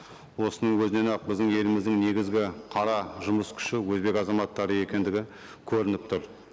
осының өзінен ақ біздің еліміздің негізгі қара жұмыс күші өзбек азаматтары екендігі көрініп тұр